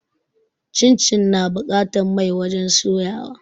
Cincin na buƙatan mai wajen soya wa